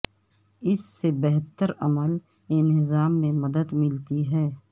اس سے بہتر عمل انہضام میں مدد ملتی ہے